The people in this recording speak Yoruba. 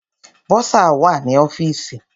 Bọ́sà wà ní ọ́fìsì.